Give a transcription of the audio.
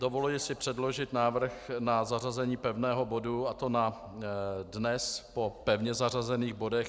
Dovoluji si předložit návrh na zařazení pevného bodu, a to na dnes po pevně zařazených bodech.